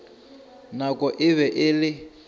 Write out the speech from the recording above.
nako e be e le